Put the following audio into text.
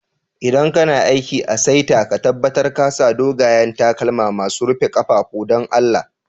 ldan kana aiki a'saita, ka tabatar ka sa dogayen takalma masun rufe kafafu, dan Allah.